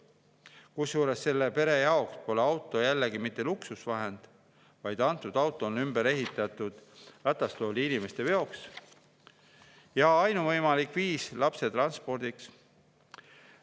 Kusjuures selle pere jaoks pole auto jällegi mitte luksus, vaid see on ümber ehitatud ratastoolis inimeste veoks ja ainuvõimalik viis lapse transportimiseks.